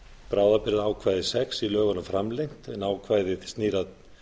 bráðabirgðaákvæði sex framlengt en ákvæðið snýr að